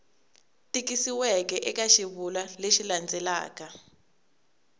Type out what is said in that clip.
tikisiweke eka xivulwa lexi landzelaka